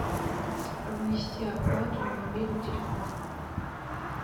внести оплату на мобильный телефон